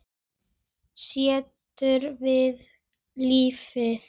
Sáttur við lífið.